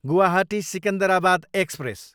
Guwahati, Secunderabad express